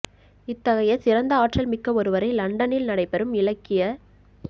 இத்தகைய சிறந்த ஆற்றல் மிக்க ஒருவரை லண்டனில் நடைபெறும் இலக்கிய